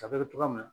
A bɛ kɛ togoya min na